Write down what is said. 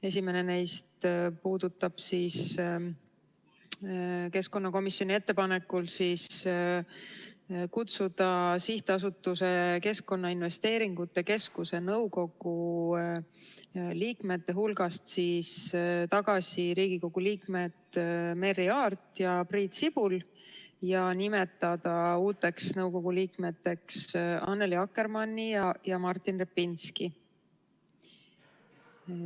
Esimene neist puudutab keskkonnakomisjoni ettepanekut kutsuda SA Keskkonnainvesteeringute Keskus nõukogu liikmete hulgast tagasi Riigikogu liikmed Merry Aart ja Priit Sibul ning nimetada uuteks nõukogu liikmeteks Annely Akkermanni ja Martin Repinski.